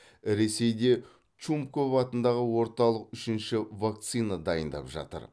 ресейде чумков атындағы орталық үшінші вакцина дайындап жатыр